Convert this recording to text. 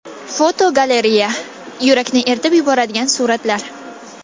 Fotogalereya: Yurakni eritib yuboradigan suratlar.